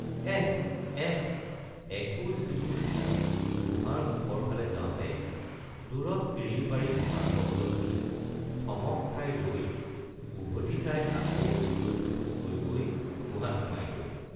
এহ্‌ এহ্‌— এখোজ দুখোজকৈ গুহাৰ মুখৰ ফালে যাওতে দুৰত কিৰিলি পাৰি হঁহাৰ শব্দ শুনি থমক খাই ৰৈ উভটি চাই আকৌ এখোজ দুখোজকৈ গৈ গুহাত সোমায় গৈ।